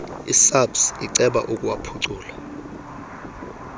isabs iceba ukuwuphucula